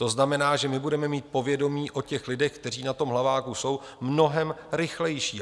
To znamená, že my budeme mít povědomí o těch lidech, kteří na tom Hlaváku jsou, mnohem rychlejší.